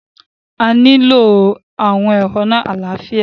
A nilo awọn ehonu alaafia